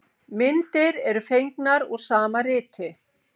Myndir eru fengnar úr sama riti.